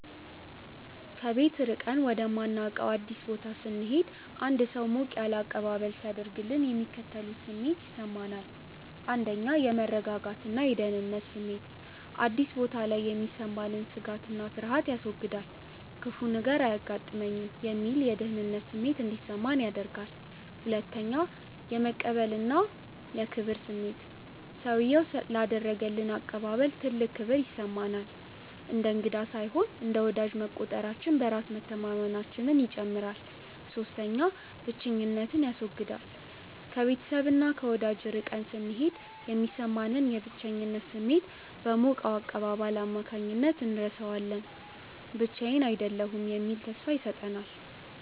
ከቤት ርቀን ወደማናውቀው አዲስ ቦታ ስንሄድ አንድ ሰው ሞቅ ያለ አቀባበል ሲያደርግልን የሚከተሉት ስሜቶች ይሰሙኛል፦ 1. የመረጋጋትና የደህንነት ስሜት፦ አዲስ ቦታ ላይ የሚሰማንን ስጋትና ፍርሃት ያስወግዳል። "ክፉ ነገር አይገጥመኝም" የሚል የደህንነት ስሜት እንዲሰማን ያደርጋል። 2. የመቀበልና የክብር ስሜት፦ ሰውዬው ላደረገልን አቀባበል ትልቅ ክብር ይሰማናል። እንደ እንግዳ ሳይሆን እንደ ወዳጅ መቆጠራችን በራስ መተማመናችንን ይጨምራል። 3. ብቸኝነትን ያስወግዳል፦ ከቤተሰብና ከወዳጅ ርቀን ስንሄድ የሚሰማንን የብቸኝነት ስሜት በሞቀው አቀባበል አማካኝነት እንረሳዋለን። ብቻዬን አይደለሁም የሚል ተስፋ ይሰጠናል።